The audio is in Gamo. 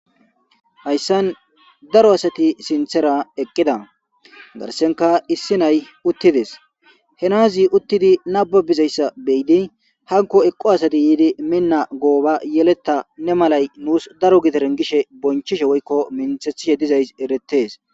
Hayissan daro asati sinththera eqida garssenkka issi nayi uttides .he Nazi uttidi nababizayissa be'iddi hanikko eqi asati yidi mina gooba yeleta nee malayi nusi daro giderenni gishshe bonichchishshe woyikko minththethishshe dizayiss eretees.